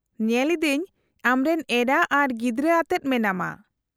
-ᱧᱮᱞ ᱮᱫᱟᱹᱧ ᱟᱢᱨᱮᱱ ᱮᱨᱟ ᱟᱨ ᱜᱤᱫᱽᱨᱟᱹ ᱟᱛᱮᱫ ᱢᱮᱱᱟᱢᱟ ᱾